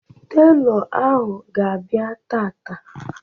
Telọ ahụ ga-abịa taata